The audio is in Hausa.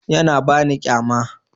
Yana ba ni kyama.